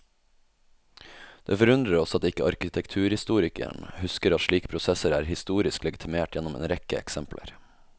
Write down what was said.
Det forundrer oss at ikke arkitekturhistorikeren husker at slike prosesser er historisk legitimert gjennom en rekke eksempler.